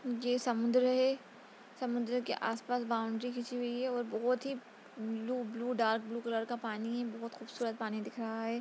ये समुन्द्र है समुन्द्र के आस-पास बौंड़री खिचीं हुई हैं और बहुत ही blue blue dark blue colour का पानी है बहुत खूबसूरत पानी दिख रहा है।